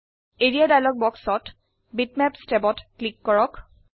area dialogue বাক্সত bitmap ট্যাবত click কৰক